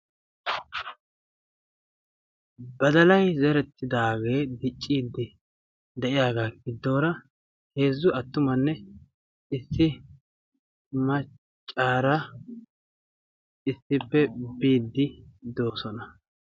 badalay zerettidaagee dicciiddi de'iyaagaa giddoora heezzu attumanne issi maccaara issippe biiddi doosona